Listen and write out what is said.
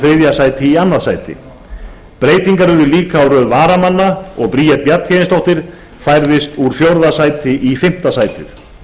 þriðja sæti í öðru sæti breytingar urðu líka á röð varamanna og bríet bjarnhéðinsdóttir færðist úr fjórða sæti í fimmta sætið